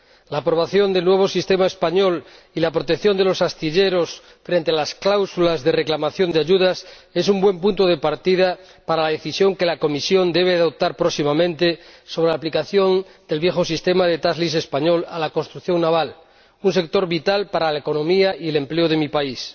La aprobación del nuevo sistema español y la protección de los astilleros frente a las cláusulas de reclamación de ayudas es un buen punto de partida para la Decisión que la Comisión debe adoptar próximamente sobre la aplicación del viejo sistema de español a la construcción naval, un sector vital para la economía y el empleo de mi país.